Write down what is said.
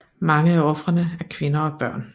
Mange af ofrene er kvinder og børn